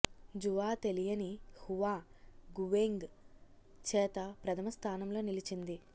Jua తెలియని హువా గువెంగ్ చేత ప్రథమ స్థానంలో నిలిచింది